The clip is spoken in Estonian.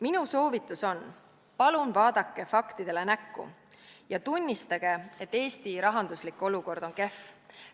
Minu soovitus on: palun vaadake faktidele näkku ja tunnistage, et Eesti rahanduslik olukord on kehv!